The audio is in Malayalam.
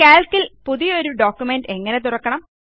കാൽക്ക് ൽ പുതിയൊരു പ്രമാണം എങ്ങനെ തുറക്കണം